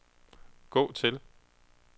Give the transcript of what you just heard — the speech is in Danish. gå til